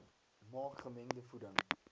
maak gemengde voeding